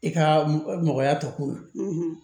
I ka mɔgɔya tɔkun na